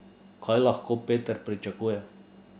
Kaj lahko Peter pričakuje?